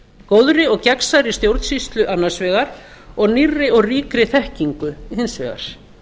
góðri og gegnsærri stjórnsýslu annars vegar og nýrri og ríkri þekkingu hins vegar